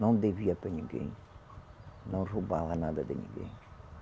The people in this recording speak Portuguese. Não devia para ninguém, não roubava nada de ninguém.